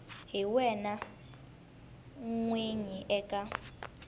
hi wena n winyi eka